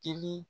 Dili